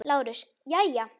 LÁRUS: Jæja!